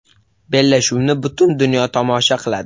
Bellashuvni butun dunyo tomosha qiladi.